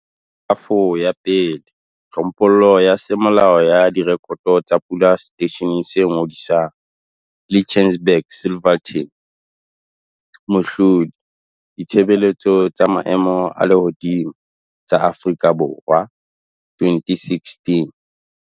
Kerafo ya 1. Tlhophollo ya semolao ya direkoto tsa pula seteisheneng se ngodisang, Lichtenburg Silverton. Mohlodi- Ditshebeletso tsa Maemo a Lehodimo SA, 2016.